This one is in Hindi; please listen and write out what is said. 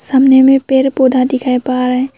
सामने में पेड़ पौधा दिखाई पा रहे है।